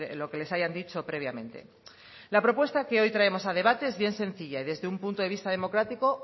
lo que les hayan dicho previamente la propuesta que hoy traemos a debate es bien sencilla y desde un punto de vista democrático